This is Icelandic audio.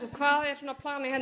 hvað er planið